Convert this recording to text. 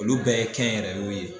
Olu bɛɛ ye kɛ yɛrɛ kun ye.